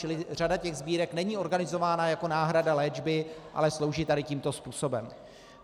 Čili řada těch sbírek není organizována jako náhrada léčby, ale slouží tady tímto způsobem.